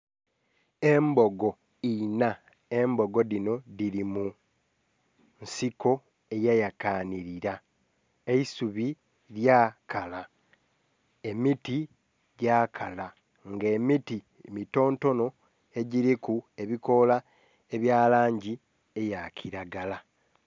Embogo enha, embogi dhino dhiri munsiko eyayakanhilira. Ekisubi lyakala, emiti gyakala nga emiti mitontono egyiriku ebikoola ebyalangi eyakilagara